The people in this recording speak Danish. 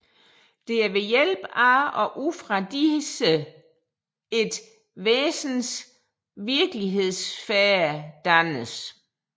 Det er ved hjælp af og ud fra disse et væsens virkelighedssfære dannes